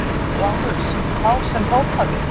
LÁRUS: Þá sem hrópaði!